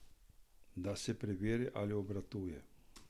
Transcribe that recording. Da se preveri, ali obratuje.